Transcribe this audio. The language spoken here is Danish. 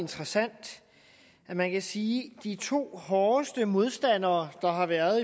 interessant at man kan sige at de to hårdeste modstandere der har været